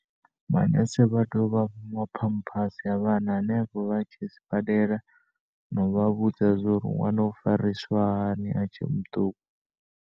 Manese vha tea u vha fha maphamphasi a vhana hanefho vhatshe sibadela na uvha vhudza zwa uri nwana ufariswa hani a tshe muṱuku.